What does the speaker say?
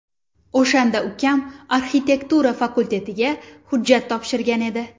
O‘shanda ukam arxitektura fakultetiga hujjat topshirgan edi.